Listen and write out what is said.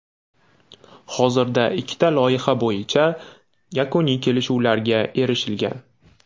Hozirda ikkita loyiha bo‘yicha yakuniy kelishuvlarga erishilgan.